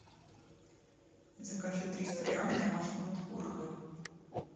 закажи триста грамм домашнего творога